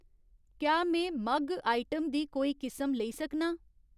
क्या में मग्ग आइटम दी कोई किसम लेई सकनां ?